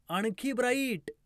आणखी ब्राईट